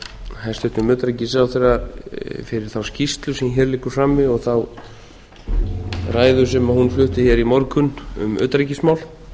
hæstvirtum utanríkisráðherra fyrir þá skýrslu sem hér liggur frammi og ræðu sem hún flutti hér í morgun um utanríkismál